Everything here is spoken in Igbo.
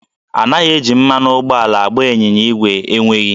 Anaghị eji mmanụ ụgbọala agba ịnyịnya ígwè enweghị